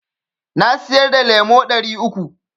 Na siyar da lemo ɗari uku.